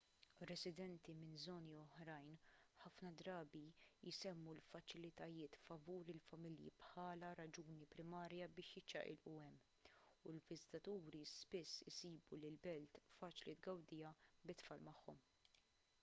residenti minn żoni oħrajn ħafna drabi jsemmu l-faċilitajiet favur il-familja bħala raġuni primarja biex jiċċaqilqu hemm u l-viżitaturi spiss isibu li l-belt faċli tgawdiha bit-tfal magħhom